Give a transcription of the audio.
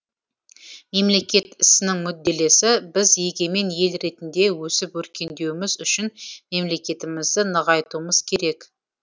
мемлекет ісінің мүдделесі біз егемен ел ретінде өсіп өркендеуіміз үшін мемлекетімізді нығайтуымыз керек